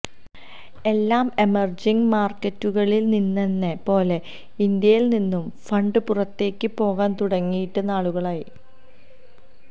എല്ലാ എമര്ജിംഗ് മാര്ക്കറ്റുകളില് നിന്നെന്ന പോലെ ഇന്ത്യയില് നിന്നും ഫണ്ട് പുറത്തേക്ക് പോകാന് തുടങ്ങിയിട്ട് നാളുകളായി